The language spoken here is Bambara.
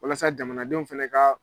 Walasa jamanadenw fɛnɛ ka